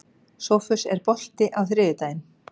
Sófus, er bolti á þriðjudaginn?